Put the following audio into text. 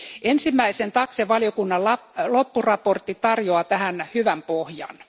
Ensimmäisen TAXE erityisvaliokunnan loppuraportti tarjoaa tähän hyvän pohjan.